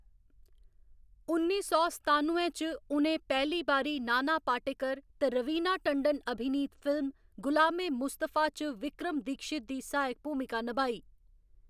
उन्नी सौ सतानुए च, उ'नें पैह्‌ली बारी नाना पाटेकर ते रवीना टंडन अभिनीत फिल्म गुलाम ए मुस्तफा च विक्रम दीक्षित दी सहायक भूमिका नभाई।